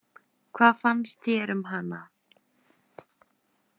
Hvað fannst þér um hana?